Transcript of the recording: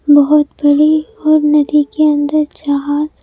बहुत बड़ी और नदी के अंदर जहाज--